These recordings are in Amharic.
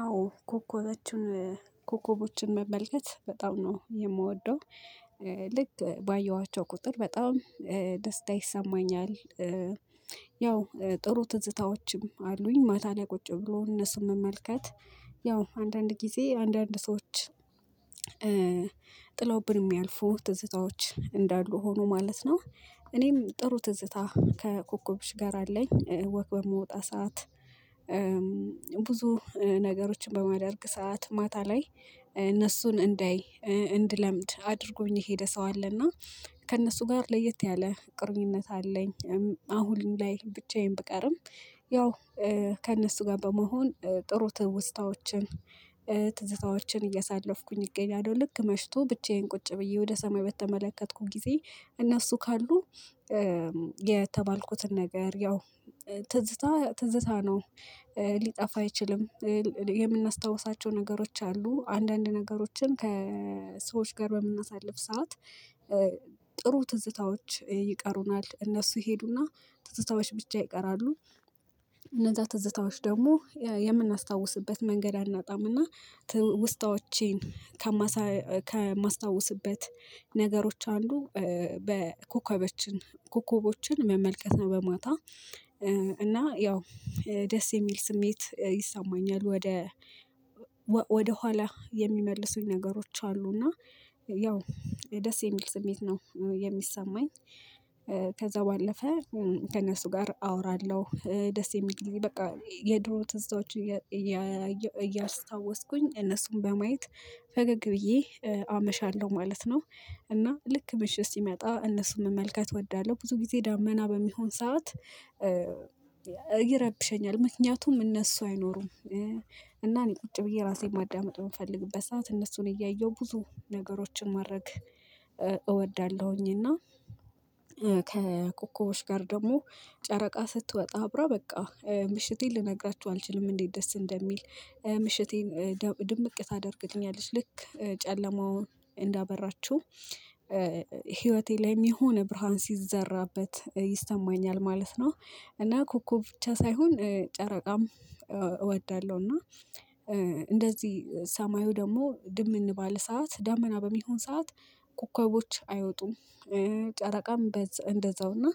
አዎ ኮከቦችን ኮከቦችን መመልከት በጣም ነው የምወደው ልክ ባየኋቸው ቁጥር በጣም ደስታ ይሰማኛል። ያው ጥሩ ትዝታዎችም አሉኝ ማታ ላይ ቁጭ ብሎ እነሱን መመልከት ያው አንዳንድ ጊዜ አንዳንድ ሰዎች ጥለውብን የሚያልፉ ትዝታዎች እንዳሉ ሆኖ ማለት ነው። እኔም ጥሩ ትዝታ ከኮከብሽ ጋር አለኝ ወክ በመውጣት ሰዓት። ብዙ ነገሮችን በማደርግ ሰዓት ማታ ላይ እነሱን እንዳይ እንድለምድ አድርጎኝ የሄደ ሰው አለና ከእነሱ ጋር ለየት ያለ ቅርኝነት አለኝ። አሁንም ላይ ብቻዬን ብቀርም ያው ከእነሱ ጋር በመሆን ጥሩ ትውስታዎችን ትዝታዎችን እያሳለፍኩኝ እገኛለሁ። ልክ መሽቶ ብቻዬን ቁጭ ብዬ ወደ ሰማይ በተመለከትኩ ጊዜ እነሱ ካሉ የተባልኩትን ነገር ያው ትዝታ ትዝታ ነው ሊጠፋ አይችልም። የምናስታውሳቸው ነገሮች አሉ አንዳንድ ነገሮችን ከሰዎች ጋር በምናሳልፍ ሰዓት ጥሩ ትዝታዎች ይቀሩናል እነሱ ይሄዱና ትዝታዎች ብቻ ይቀራሉ። እነዛ ትዝታዎች ደግሞ የምናስታውስበት መንገድ አናጣምና። ውስጣዊዎቼን ከማስታወስበት ነገሮች አንዱ በኮከቦችን መመልከት ነው በማታ እና ያው ደስ የሚል ስሜት ይሰማኛል። ወደ ወደኋላ የሚመልሱኝ ነገሮች አሉ እና ያው ደስ የሚል ስሜት ነው የሚሰማኝ። ከዛ ባለፈ ከእነሱ ጋር አወራለሁ ደስ የሚል በቃ የድሮ ትዕዛዎችን እያስታወስኩኝ እነሱን በማየት ፈገግ ብዬ አመሻለሁ ማለት ነው። እና ልክ ምሽት ሲመጣ እነሱን መመልከት እወዳለሁ። ብዙ ጊዜ ዳመና በሚሆን ሰዓት ይረብሸኛል ምክንያቱም እነሱ አይኖሩም። እና እኔ ቁጭ ብዬ ራሴን ማዳመጥ የምፈልግበት ሰዓት እነሱን እያየሁ ብዙ ነገሮችን ማድረግ እወዳለሁኝ እወዳለሁኝና ከኮኮቦች ጋር ደግሞ ጨረቃ ስትወጣ አብራ በቃ ምሽቴን ልነግራችሁ አልችልም እንዴት ደስ እንደሚል? ምሽቴን ድምቅ ታደርግኛለች ልክ ጨለማውን እንዳበራችው ህይወቴ ላይም የሆነ ብርሃን ሲዘራበት ይስተማኛል ማለት ነው። እና ኮኮብ ብቻ ሳይሆን ጨረቃም እወዳለሁ። እና እንደዚህ ሰማዩ ደግሞ ድምን የሚባል ሰዓት ዳመና በሚሆን ሰዓት ኩከቦች አይወጡም። ጨረቃም እንደዛው እና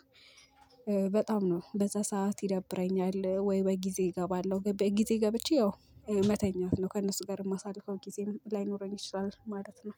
በጣም ነው በዛ ሰዓት ይዳብረኛል። ወይ በጊዜ እገባለሁ ገብቼ በጊዜ ገብቼ ያው መተኛት ነው ከእነሱ ጋር የማሳልፈው ጊዜ ላይኖረኝ ይችላል ማለት ነው